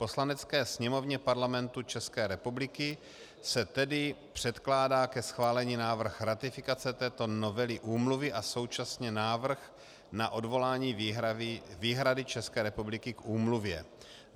Poslanecké sněmovně Parlamentu České republiky se tedy předkládá ke schválení návrh ratifikace této novely úmluvy a současně návrh na odvolání výhrady České republiky k úmluvě.